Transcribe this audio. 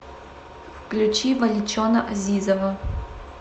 включи валичона азизова